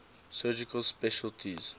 surgical specialties